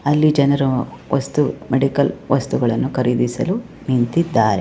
ಅಲ್ಲಿ ಜನರು ವಸ್ತು ಮೆಡಿಕಲ್ ವಸ್ತುಗಳನ್ನು ಖರೀದಿಸಲು ನಿಂತ್ತಿದ್ದಾರೆ.